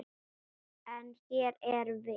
En. hér erum við.